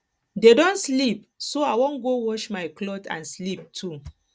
dey don sleep so i wan go wash my cloth and sleep too